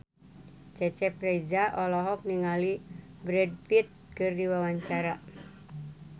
Cecep Reza olohok ningali Brad Pitt keur diwawancara